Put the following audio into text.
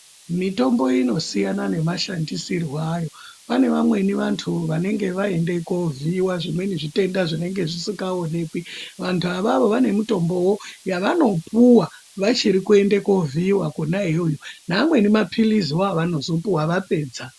Mitombo inosiyana nemashandisirwo ayo. Pane vamweni vanthu vanenge vaende kunovhiiwa zvimweni zvitenda zvisikaonekwi. Vantu avavo vanemitombowo yavanopuwa vachiri kuende koovhiiwa kona iyoyo, neamweni maphiliziwo avanozopuwa vapedza.